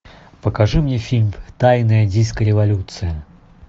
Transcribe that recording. покажи мне фильм тайная диско революция